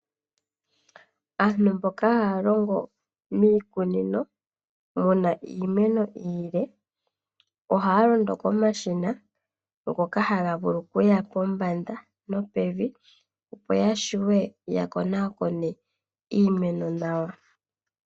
Aantu mboka haya longo miikunino muna iimeno iile ohaya londo komashina ngoka haga vulu okuya pombanda nopevi opo yavule yakonakone iimeno nawa.